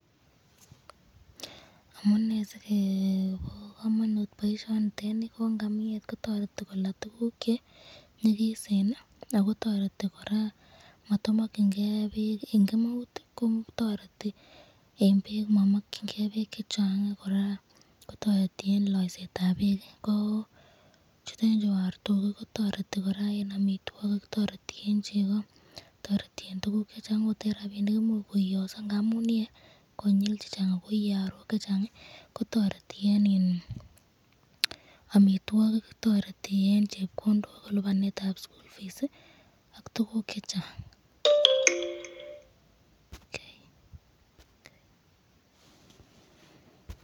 Amunee sikobo komonut boishoni nitet nii ko ng'amiet kotoreti kolaa tukuk chenyikisen ak ko toreti kora matomokying'e beek, en kemeut kotoretii en beek momokying'e bekk chachang kora koteriti en loisetab Beek, toreti kora en amitwokik, toreti en cheko, toreti en tukuk chechang akot en rabinik koimuch koiyoso amuun iyee konyil chechang ak ko iyee arook chechang kotoreti en iin amitwokik, toreti en chepkondok en libanetab school fees ak tukuk chechang.